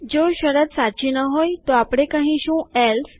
જો શરત સાચી ન હોય તોઆપણે કહીશું એલ્સે